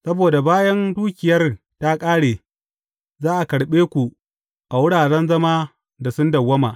Saboda bayan dukiyar ta ƙare, za a karɓe ku a wuraren zama da sun dawwama.